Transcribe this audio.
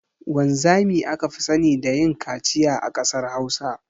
Wanzami aka fi sani da yin kaciya a kasar hausa.